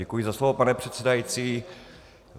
Děkuji za slovo, pane předsedající.